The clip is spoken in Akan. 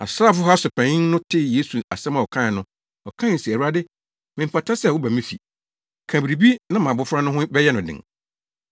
Asraafo ha so panyin no tee Yesu asɛm a ɔkae no, ɔkae se, “Awurade, memfata sɛ woba me fi. Ka biribi na mʼabofra no ho bɛyɛ no den.